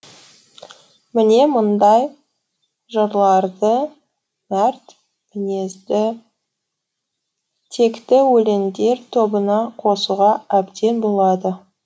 міне мұндай жырларды мәрт мінезді текті өлеңдер тобына қосуға әбден болады